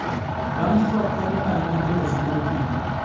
Langstroth konyo ahinya e loso mor kich.